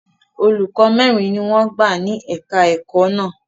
Olùkọ́ mẹ́rin ni wọ́n gbà ní èka-ẹ̀kọ́ náà.